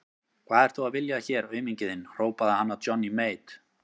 Hvað ert þú að vilja hér auminginn þinn, hrópaði hann að Johnny Mate.